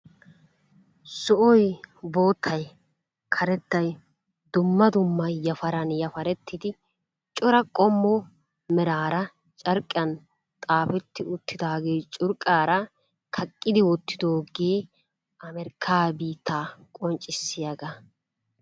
Zo'oy, boottay, karettay dumma dumma yafarani yafarettidi cora qommo meraara carqqiyan xaafetti uttidage curqqara kaqidi wotidoge Amerikka biitta qoncisiyaaga.